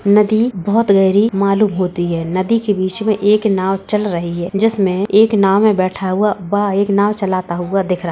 नदी बोहोत गहरी मालूम होती है। नदी के बीच में एक नाव चल रही है जिसमे एक नाव में बैठा हुआ व् एक नाव चलाता हुआ दिख रहा --